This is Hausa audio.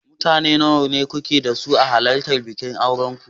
Mutane nawa kuke so a halartar bikin auren ku.